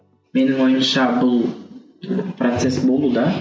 менің ойымша бұл процесс болуда